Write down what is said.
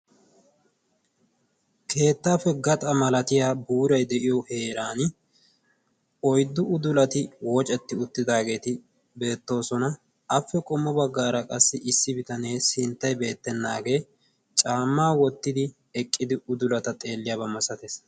keettaappe gaxa malatiya buuray de'iyo heeran oyddu udulati woocetti uttidaageeti beettoosona. appe qommo baggaara qassi issi bitanee sinttay beettennaagee caammaa wottidi eqqidi udulata xeelliyaabaa masatees.